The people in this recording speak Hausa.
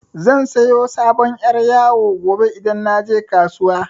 Zan siyo sabon yar' yawo gobe idan naje kasuwa.